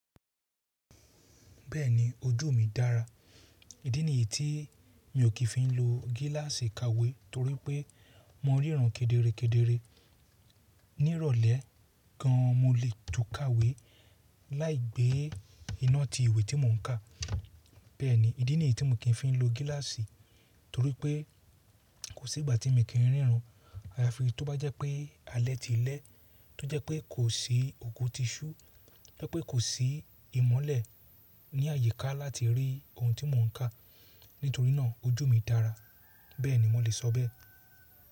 Bẹ́ẹ̀ni ojú mi dára. Ídí nìyí tí mi ò kí ń fi lo gíláàsì ìkáwé torí pé mo ríran kedere kedere. Ní ìrọ̀lẹ́ gan an mo lè tún ka ìwé láì gbé iná ti ìwé tí mò ń kà. Bẹ́ẹ̀ni, ìdí nìyí tí mo kí ń fi lo gíláàsì torí pé kò sí ìgbà tí mo kì í ríran. Ayafi tó bá jẹ́ pé alẹ́ ti lẹ́, tó jẹ́ pé kò sí òkùn ti iṣu, tó jẹ́ pé kò sí ìmọ́lẹ̀ ní àyíká láti rí ohun tí mò ń kà. Nítorí náà ojú mi dára. Bẹ́ẹ̀ni mo lè sọ bẹ́ẹ̀.